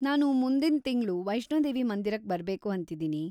ನಾನು ಮುಂದಿನ್‌ ತಿಂಗ್ಳು ವೈಷ್ಣೋದೇವಿ ಮಂದಿರಕ್ ಬರ್ಬೇಕು ಅಂತಿದೀನಿ.